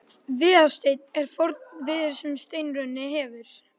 Viðarsteinn er forn viður sem steinrunnið hefur.